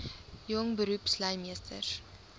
jong beroepslui meesters